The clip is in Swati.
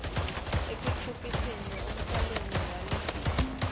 ekunciphiseni umtselela walesifo